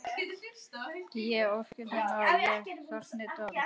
Ég óttast að ég fái þungan dóm.